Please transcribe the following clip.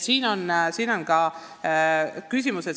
Nii et see on küsimus.